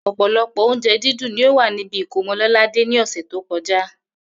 Ò̩pò̩lo̩pò̩ oúnje̩ dídùn ni ó wà níbi ìkómo̩ Lò̩ládé ní ò̩sè̩ tó ko̩já